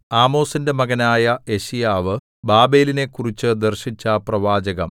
ആമോസിന്റെ മകനായ യെശയ്യാവ് ബാബേലിനെക്കുറിച്ചു ദർശിച്ച പ്രവാചകം